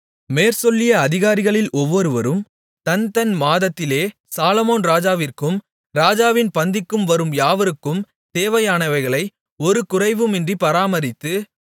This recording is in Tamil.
மேற்சொல்லிய அதிகாரிகளில் ஒவ்வொருவரும் தன்தன் மாதத்திலே சாலொமோன் ராஜாவிற்கும் ராஜாவின் பந்திக்கு வரும் யாவருக்கும் தேவையானவைகளை ஒரு குறைவுமின்றி பராமரித்து